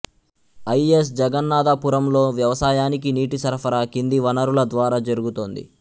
I S జగన్నాధపురంలో వ్యవసాయానికి నీటి సరఫరా కింది వనరుల ద్వారా జరుగుతోంది